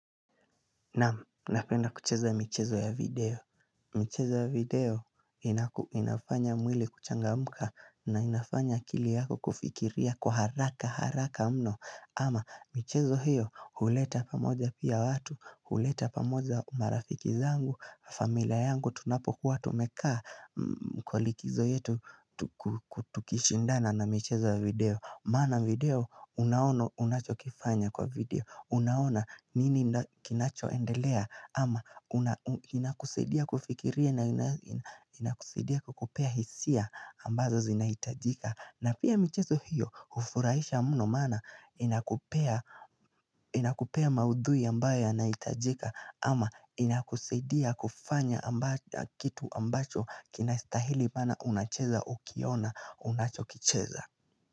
Naam, napenda kucheza michezo ya video. Michezo ya video inafanya mwili kuchangamuka na inafanya akili yako kufikiria kwa haraka haraka mno. Ama michezo hiyo huleta pamoja pia watu, huleta pamoja marafiki zangu, familia yangu tunapokuwa tumekaa kwa likizo yetu tukishindana na michezo ya video. Maana video unaona unachokifanya kwa video. Unaona nini kinachoendelea ama inakusaidia kufikiria na inakusaidia kukupea hisia ambazo zinahitajika. Na pia michezo hiyo hufurahisha mno maana inakupea inakupea maudhui ambayo yanahitajika ama inakusaidia kufanya kitu ambacho kinastahili maana unacheza ukiona unachokicheza.